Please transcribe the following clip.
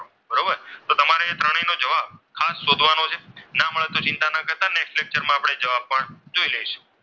ના મળે તો ચિંતા ના કરતા next lecture માં આપણે જોઈ લઈશું.